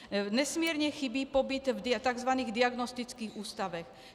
Nesmírně chybí pobyt v tzv. diagnostických ústavech.